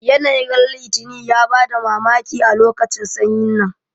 Yanayin ran litini ya bada mamaki a lokacin sanyi nan